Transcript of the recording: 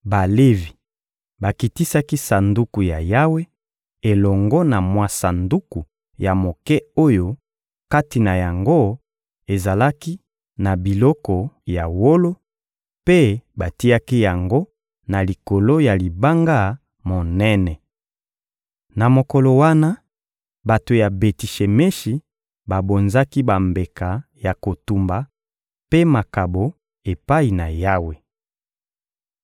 Balevi bakitisaki Sanduku ya Yawe elongo na mwa sanduku ya moke oyo kati na yango ezalaki na biloko ya wolo, mpe batiaki yango na likolo ya libanga monene. Na mokolo wana, bato ya Beti-Shemeshi babonzaki bambeka ya kotumba mpe makabo epai na Yawe.